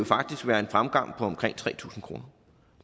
faktisk være en fremgang på omkring tre tusind kroner